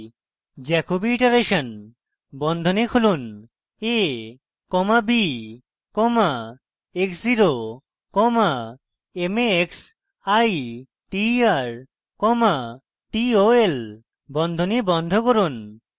jacobi iteration বন্ধনী খুলুন a comma b comma x zero comma m a x i t e r comma t o l বন্ধনী বন্ধ করুন